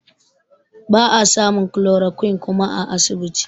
Ba a samun chloroquine kuma a asibiti